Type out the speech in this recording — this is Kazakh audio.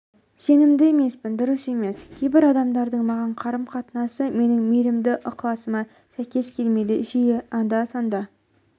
сенімді емеспін дұрыс емес кейбір адамдардың маған қарым-қатынасы менің мейірімді ықыласыма сәйкес келмейді жиі анда-санда